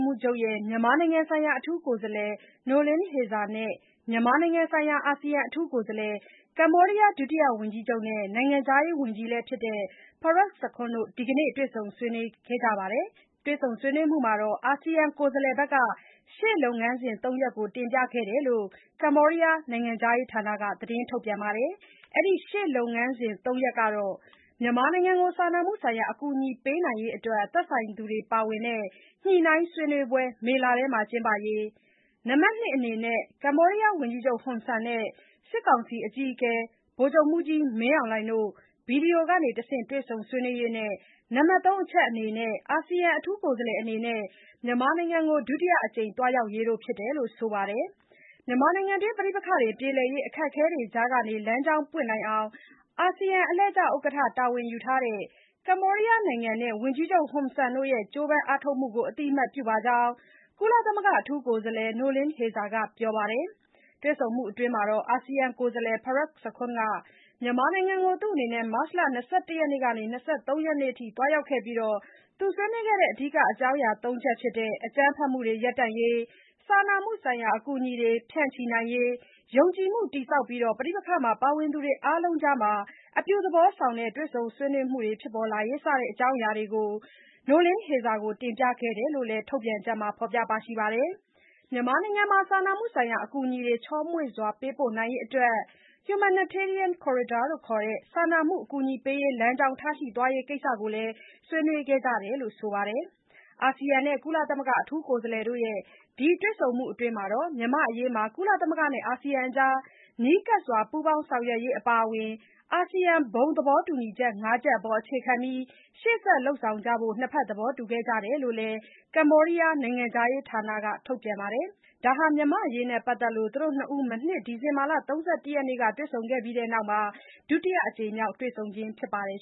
းမှူးချုပ်ရဲ့ မြန်မာနိုင်ငံဆိုင်ရာ အထူးကိုယ်စားလှယ် Noeleen Heyzer နဲ့ မြန်မာနိုင်ငံဆိုင်ရာ အာဆီယံအထူးကိုယ်စားလှယ်၊ ကမ္ဘောဒီးယား ဒုတိယဝန်ကြီးချုပ်နဲ့ နိုင်ငံခြားရေးဝန်ကြီးလည်းဖြစ်တဲ့ Prak Sakhonn တို့ ဒီကနေ့ တွေ့ဆုံဆွေးနွေးခဲ့ကြတာမှာ အာဆီယံကိုယ်စားလှယ် ဘက်က ရှေ့လုပ်ငန်းစဉ် (၃) ရပ်ကို တင်ပြခဲ့ကြောင်း ကမ္ဘောဒီးယား နိုင်ငံခြားရေးဌာနက သတင်းထုတ်ပြန်ပါတယ်။ အဲဒီ ရှေ့လုပ်ငန်းစဉ် (၃) ရပ်ကတော့ (၁) - မြန်မာနိုင်ငံကို စားနာမှုဆိုင်ရာ အကူအညီပေးနိုင်ရေးအတွက် သက်ဆိုင်သူတွေ ပါဝင်တဲ့ ညှိနှိုင်းဆွေးနွေးပွဲ မေလထဲမှာ ကျင်းပရေး၊ နံပါတ် (၂) အနေနဲ့ - ကမ္ဘောဒီးယားဝန်ကြီးချုပ် ဟွန်ဆန်နဲ့ စစ်ကောင်စီအကြီးအကဲ ဗိုလ်ချုပ်မှူးကြီး မင်းအောင်လှိုင်တို့ Video ကတဆင့် တွေ့ဆုံ ဆွေးနွေးရေးနဲ့ နံပါတ် (၃) အချက်အနေနဲ့ အာဆီယံကိုယ်စားလှယ်အနေနဲ့ မြန်မာနိုင်ငံကို ဒုတိယအကြိမ် သွားရောက်ရေးတို့ ဖြစ်တယ်လို့ ဆိုပါတယ်။ မြန်မာနိုင်ငံ ပဋိပက္ခပြေလည်ရေး အခက်အခဲတွေကြားက လမ်းကြောင်းပွင့်နိုင်အောင် အာဆီယံအလှည့်ကျဥက္ကဌ တာဝန်ယူထားတဲ့ ကမ္ဘောဒီးယားနိုင်ငံနဲ့ ဝန်ကြီးချုပ် ဟွန်ဆန်တို့ရဲ့ ကြိုးပမ်း အားထုတ်မှုကို အသိအမှတ်ပြုပါကြောင်း ကုလသမဂ္ဂ အထူးကိုယ်စားလှယ် Noeleen Heyzer က ပြောပါတယ်။ တွေ့ဆုံမှုအတွင်း အာဆီယံကိုယ်စားလှယ် Prak Sakhonn မြန်မာနိုင်ငံကို မတ်လ ၂၁ ရက်ကနေ ၂၃ ရက်နေ့အထိ သွားရောက်ပြီး ဆွေးနွေးခဲ့တဲ့ အဓိက အကြောင်းအရာ ၃ ချက်ဖြစ်တဲ့ - အကြမ်းဖက်မှုတွေ ရပ်တန့်ရေး၊ စာနာမှုဆိုင်ရာအကူအညီတွေ ဖြန့်ချိနိုင်ရေး၊ ယုံကြည်မှုတည်ဆောက်ပြီး ပဋိပက္ခမှာ ပါဝင်သူတွေအားလုံးအကြား အပြုသဘောဆောင်တဲ့ တွေ့ဆုံ ဆွေးနွေးမှုတွေ ဖြစ်ပေါ်လာရေး စတဲ့ အကြောင်းအရာတွေကို Noeleen Heyzer ထံ တင်ပြခဲ့တယ်လို့လည်း ထုတ်ပြန်ချက်မှာ ဖော်ပြထားပါတယ်။ မြန်မာနိုင်ငံမှာ စာမှုဆိုင်ရာ အကူအညီတွေ ချောမွေ့စွာ ပေးပို့နိုင်ရေးအတွက် Humanitarian Corridor လို့ခေါ်တဲ့ စာနာမှုအကူအညီပေးရေး လမ်းကြောင်း ထားရှိသွားရေးကိစ္စကိုလည်း ဆွေးနွေးခဲ့ကြတယ်လို့ ဆိုပါတယ်။ အာဆီယံနဲ့ ကုလသမဂ္ဂအထူးကိုယ်စားလှယ်တို့ရဲ့ ဒီတွေ့ဆုံမှုအတွင်း မြန်မာ့အရေးမှာ ကုလသမဂ္ဂနဲ့ အာဆီယံအကြား နီးကပ်စွာ ပူးပေါင်း ဆောင်ရွက်ရေးအပါအဝင် အာဆီယံ ဘုံသဘောတူညီချက် (၅) ချက်အပေါ် အခြေခံပြီး ရှေ့ဆက် လုပ်ဆောင်ကြဖို့ နှစ်ဘက် သဘောတူကြတယ်လို့လည်း ကမ္ဘောဒီးယားနိုင်ငံခြားရေးဌာနရဲ့ ထုတ်ပြန်ချက်မှာ ဖော်ပြထားပါတယ်။ ဒါဟာ မြန်မာ့အရေးနဲ့ပတ်သက်လို့ သူတို့ ၂ ဦး မနှစ် ဒီဇင်ဘာ ၃၁ ရက်နေ့က တွေ့ဆုံပြီးတဲ့နောက် ဒုတိယအကြိမ်မြောက် တွေ့ဆုံခြင်းဖြစ်ပါတယ်